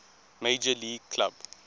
major league club